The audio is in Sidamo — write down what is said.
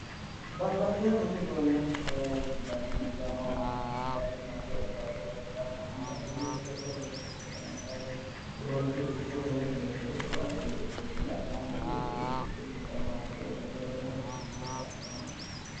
Babbaxewo budu uduunne sidaamu giddo noo addinta shiimadu hee'ne baatto loonsayite tini sholete woyi wolootu xikkete sholete cuaati, tini la'neemmoti xikkete baatto loosate badala shuqu'nate kaa'litaa yaate.